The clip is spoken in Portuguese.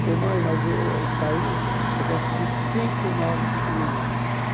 Falei, mãe, mas eu saí, eu consegui cinco novos clientes.